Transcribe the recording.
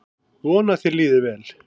Vona að þér líði vel.